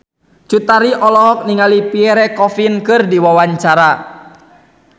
Cut Tari olohok ningali Pierre Coffin keur diwawancara